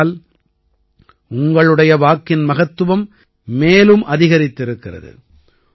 ஆகையால் உங்களுடைய வாக்கின் மகத்துவம் மேலும் அதிகரித்திருக்கிறது